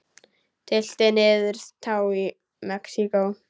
Tylltir niður tá í Mexíkó.